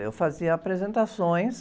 Eu fazia apresentações.